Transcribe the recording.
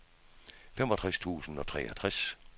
femogtres tusind og treogtres